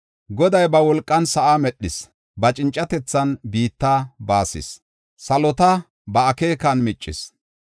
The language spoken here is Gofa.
Goday ba wolqan sa7aa medhis; ba cincatethan biitta baasis; salota ba akeekan miccis.